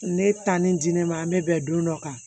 Ne taa ni di ne ma an bɛ bɛn don dɔ kan